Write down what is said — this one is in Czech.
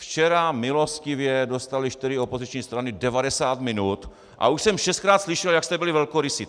Včera milostivě dostaly čtyři opoziční strany 90 minut a už jsem šestkrát slyšel, jak jste byli velkorysí.